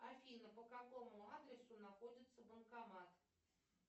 афина по какому адресу находится банкомат